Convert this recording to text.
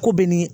Ko bɛ ni